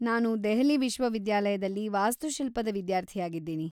ನಾನು ದೆಹಲಿ ವಿಶ್ವವಿದ್ಯಾಲಯದಲ್ಲಿ ವಾಸ್ತುಶಿಲ್ಪದ ವಿದ್ಯಾರ್ಥಿಯಾಗಿದ್ದೀನಿ.